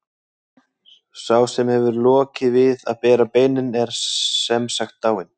Sá sem hefur lokið við að bera beinin er sem sagt dáinn.